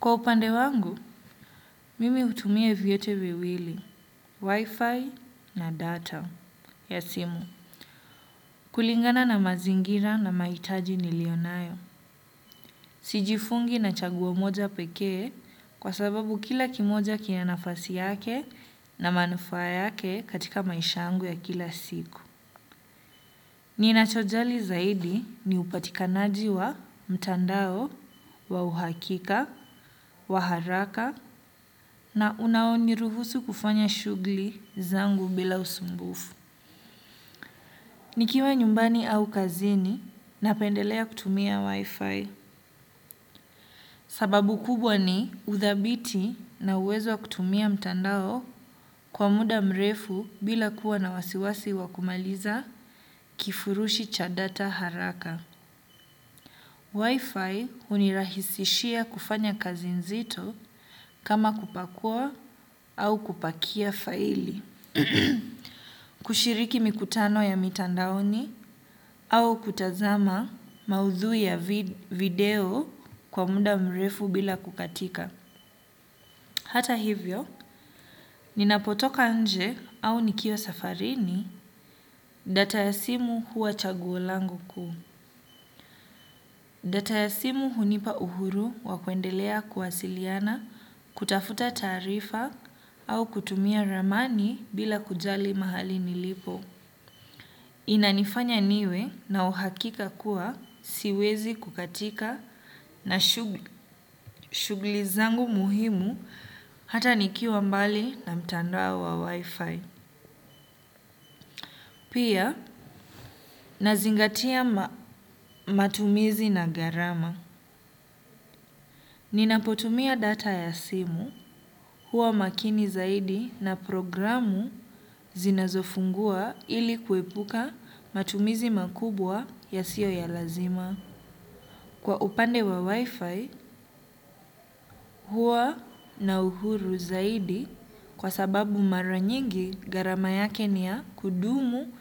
Kwa upande wangu, mimi utumia vyote viwili, wifi na data ya simu kulingana na mazingira na mahitaji nilio nayo. Sijifungi na chaguo moja pekee kwa sababu kila kimoja kina nafasi yake na manufaa yake katika maisha yangu ya kila siku. Ninachojali zaidi ni upatikanaji wa mtandao, wa uhakika, wa haraka na unaoniruhusu kufanya shugli zangu bila usumbufu. Nikiwa nyumbani au kazini napendelea kutumia wifi. Sababu kubwa ni uthabiti na uwezo wa kutumia mtandao kwa muda mrefu bila kuwa na wasiwasi wa kumaliza kifurushi cha data haraka. Wi-Fi unirahisishia kufanya kazi nzito kama kupakua au kupakia faili, kushiriki mikutano ya mitandaoni au kutazama maudhui ya video kwa muda mrefu bila kukatika. Hata hivyo, ninapotoka nje au nikiwa safarini data ya simu huwa chaguo langu kuu. Data ya simu hunipa uhuru wa kuendelea kuwasiliana, kutafuta taarifa au kutumia ramani bila kujali mahali nilipo. Inanifanya niwe na uhakika kuwa siwezi kukatika na shugli zangu muhimu hata nikiwa mbali na mtandoa wa wi-fi. Pia, nazingatia matumizi na gharama. Ninapotumia data ya simu, huwa makini zaidi na programu zinazofungua ili kuepuka matumizi makubwa yasiyo ya lazima. Kwa upande wa Wi-Fi, huwa na uhuru zaidi kwa sababu mara nyigi gharama yake ni ya kudumu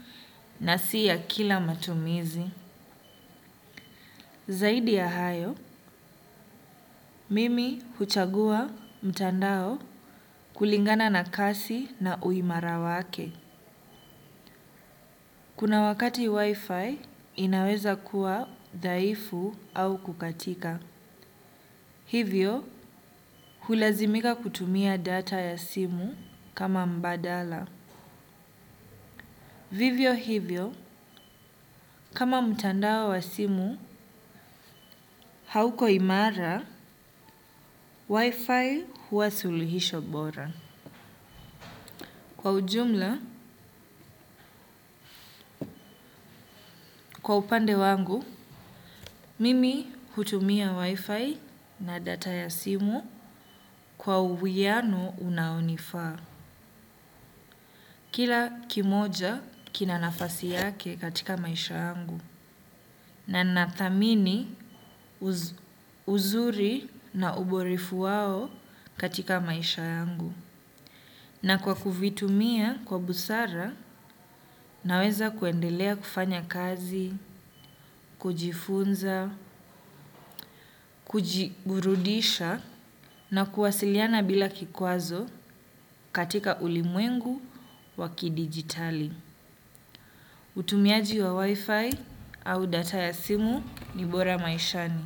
na si ya kila matumizi. Zaidi ya hayo, mimi huchagua mtandao kulingana na kasi na uimara wake. Kuna wakati wifi inaweza kuwa dhaifu au kukatika. Hivyo, hulazimika kutumia data ya simu kama mbadala. Vivyo hivyo, kama mtandao wa simu hauko imara, wifi huwa suluhisho bora. Kwa ujumla, kwa upande wangu, mimi hutumia wifi na data ya simu kwa uwiyano unaonifaa. Kila kimoja kina nafasi yake katika maisha yangu. Na nathamini uzuri na uborefu wao katika maisha yangu. Na kwa kuvitumia kwa busara naweza kuendelea kufanya kazi, kujifunza, kujigurudisha na kuwasiliana bila kikwazo katika ulimwengu wa kidigitali. Utumiaji wa wifi au data ya simu ni bora maishani.